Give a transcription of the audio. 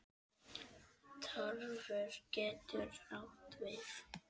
Tarfur getur átt við